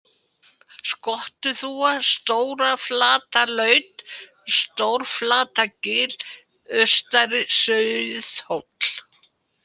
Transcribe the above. Skottuþúfa, Stóraflatarlaut, Stóraflatargil, Austari-Sauðhóll